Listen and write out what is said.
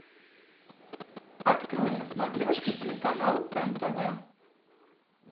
открой на смотрешке телеканал нтв